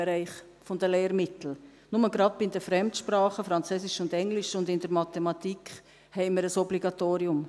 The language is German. Nur gerade bei den Fremdsprachen Französisch und Englisch sowie in der Mathematik haben wir ein Obligatorium.